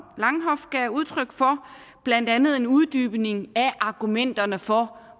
langhoff gav udtryk for blandt andet en uddybning af argumenterne for